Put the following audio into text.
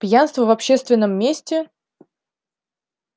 пьянство в общественном месте